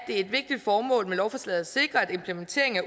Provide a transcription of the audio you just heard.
et vigtigt formål med lovforslaget at sikre at implementeringen af